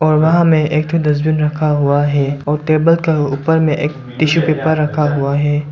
और वहां में एक ठो डस्टबिन रखा हुआ है और टेबल के ऊपर में एक टिसू पेपर रखा हुआ है।